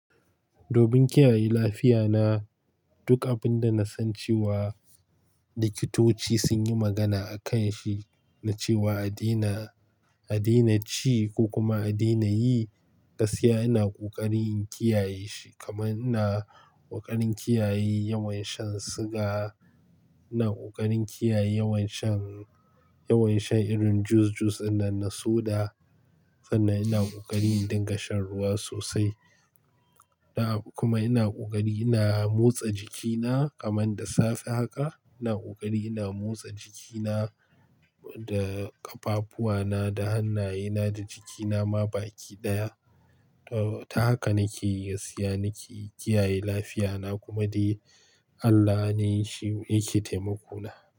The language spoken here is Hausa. Domin kiyaye lafiya na, duk abin da na san cewa, likitoci sun yi magana a kan shi na cewa "a daina, a daina ci ko kuma a daina yi" gaskiya ina ƙoƙarin in kiyaye shi, kaman ina ƙoƙarin kiyaye yawan shan siga, ina ƙoƙarin kiyaye yawan shan, yawan shan irin jus-jus ɗin nan na soda, sannan ina ƙoƙarin in dinga shan ruwa sosai. Kuma ina ƙoƙari ina motsa jikina, kaman da safe haka, ina ƙoƙari ina motsa jikina da ƙafafuwana, da hannayena da jiki nama baki ɗaya. Ta haka nake, gaskiya nake kiyaye lafiya na kuma dai Allah ne shi yake taimako na.